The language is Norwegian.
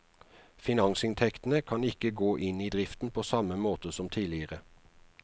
Finansinntektene kan ikke gå inn i driften på samme måte som tidligere.